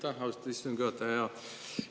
Aitäh, austatud istungi juhataja!